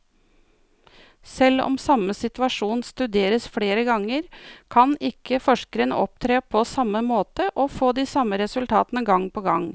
Selv om samme situasjon studeres flere ganger, kan ikke forskeren opptre på samme måte og få de samme resultatene gang på gang.